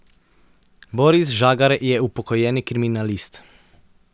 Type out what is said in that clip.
Boris Žagar je upokojeni kriminalist.